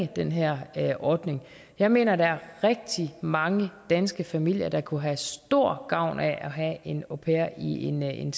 den her ordning jeg mener at der er rigtig mange danske familier der kunne have stor gavn af at have en au pair i en en